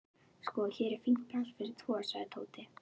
Sko, hér er fínt pláss fyrir tvo sagði Tóti.